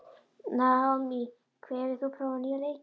Naomí, hefur þú prófað nýja leikinn?